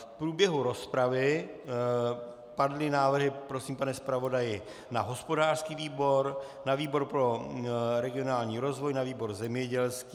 V průběhu rozpravy padly návrhy - prosím, pane zpravodaji - na hospodářský výbor, na výbor pro regionální rozvoj, na výbor zemědělský.